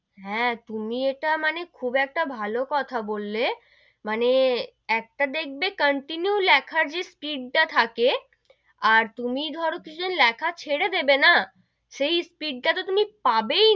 হ্যা, তুমি ইটা মানে খুব একটা ভালো কথা বললে, মানে একটা দেখবে continue লেখার যে speed টা থাকে, আর তুমি ধরো কিছু দিন লেখা ছেড়ে দেবে না, সেই speed টা তো তুমি পাবেই,